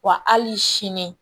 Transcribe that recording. Wa hali sini